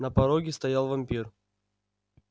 на пороге стоял вампир